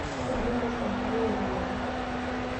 ekindim aishoo nkuti ropiani